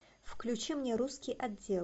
включи мне русский отдел